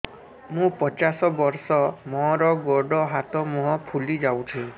ମୁ ପଚାଶ ବର୍ଷ ମୋର ଗୋଡ ହାତ ମୁହଁ ଫୁଲି ଯାଉଛି